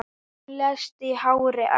Hún lést í hárri elli.